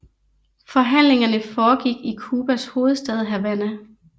Forhandlingerne foregik i Cubas hovedstad Havana